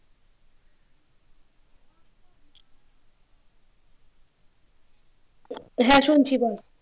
হ্যাঁ শুনছি বল